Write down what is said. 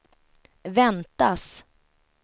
väntas